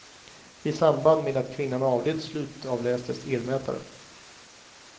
I samband med att kvinnan avled slutavlästes elmätaren.